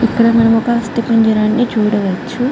ఇక్కడ మనం ఒక అస్తి పంజిరాన్ని చూడవచ్చు.